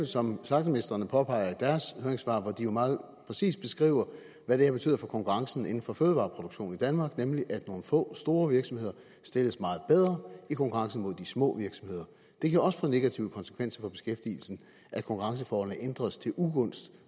som slagtermestrene påpeger i deres høringssvar hvor de jo meget præcist beskriver hvad det her betyder for konkurrencen inden for fødevareproduktion i danmark nemlig at nogle få store virksomheder stilles meget bedre i konkurrencen mod de små virksomheder det kan også få negative konsekvenser for beskæftigelsen at konkurrenceforholdene ændres til ugunst